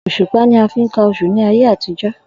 Òs̩ùpá ni a fi ń ka os̩ù ní ayé àtijó̩